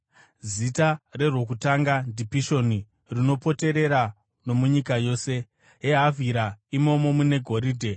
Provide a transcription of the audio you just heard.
Zita rerwokutanga ndiPishoni; runopoterera nomunyika yose yeHavhira, imomo mune goridhe.